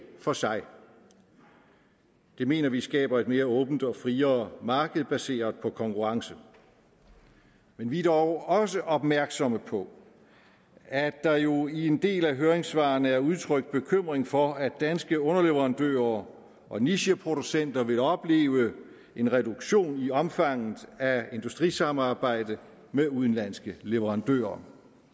for sig det mener vi skaber et mere åbent og friere marked baseret på konkurrence men vi er dog også opmærksomme på at der jo i en del af høringssvarene er udtrykt bekymring for at danske underleverandører og nicheproducenter vil opleve en reduktion i omfanget af industrisamarbejde med udenlandske leverandører